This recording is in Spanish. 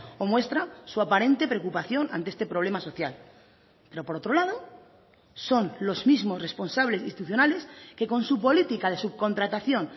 o muestra su aparente preocupación ante este problema social pero por otro lado son los mismos responsables institucionales que con su política de subcontratación